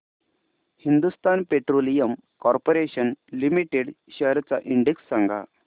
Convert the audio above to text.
Hindustan petroleum corporation limited shares चा index सांगा